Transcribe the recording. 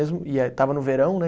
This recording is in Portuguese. E eh, estava no verão, né?